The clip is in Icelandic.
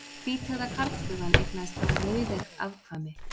Hvíteygða karlflugan eignaðist bara rauðeygð afkvæmi.